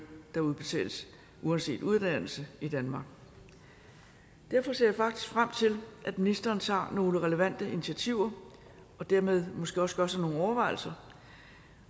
der udbetales uanset uddannelse i danmark derfor ser jeg faktisk frem til at ministeren tager nogle relevante initiativer og dermed måske også gør sig nogle overvejelser